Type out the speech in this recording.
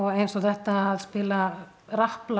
eins og þetta að spila